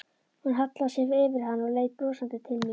Hún hallaði sér yfir hann og leit brosandi til mín.